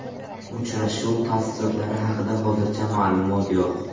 Uchrashuv tafsilotlari haqida hozircha ma’lumot yo‘q.